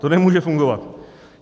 To nemůže fungovat.